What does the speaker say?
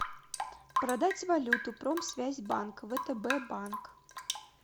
продать валюту промсвязь банк втб банк